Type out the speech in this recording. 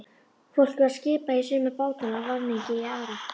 Fólki var skipað í suma bátana, varningi í aðra.